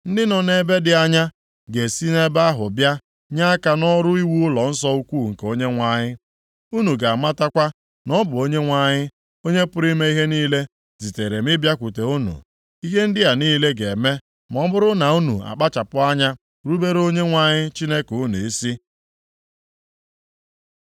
Ndị nọ nʼebe dị anya ga-esi ebe ahụ bịa nye aka nʼọrụ iwu ụlọnsọ ukwu nke Onyenwe anyị. Unu ga-amatakwa na ọ bụ Onyenwe anyị, Onye pụrụ ime ihe niile zitere m ịbịakwute unu. Ihe ndị a niile ga-eme ma ọ bụrụ na unu akpachapụ anya rubere Onyenwe anyị Chineke unu isi.”